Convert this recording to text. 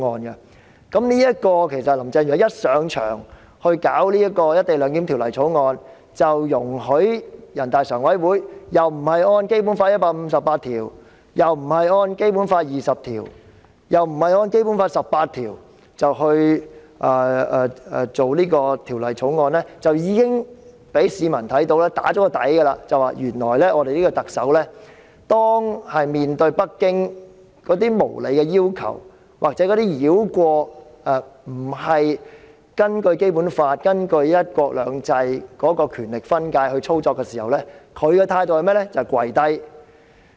林鄭月娥一上任即推動《條例草案》，容許人大常委會不按照《基本法》第一百五十八條、第二十條或第十八條來推動這項《條例草案》，已經讓市民心中有數，知道當特首面對北京無理要求，或者中央繞過《基本法》和"一國兩制"的權力分界來操作時，其態度是怎樣的呢？